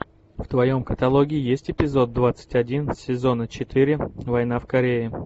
в твоем каталоге есть эпизод двадцать один сезона четыре война в корее